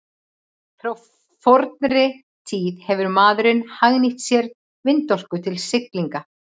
frá fornri tíð hefur maðurinn hagnýtt sér vindorku til siglinga